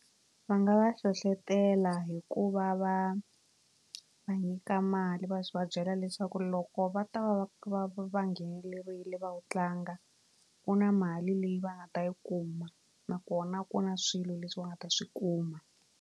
Va nga va hlohlotela hi ku va va va nyika mali va va byela leswaku loko va ta va va va va nghenelerile va wu tlanga ku na mali leyi va nga ta yi kuma nakona ku na swilo leswi va nga ta swi kuma.